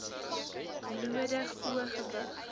nodig o gewig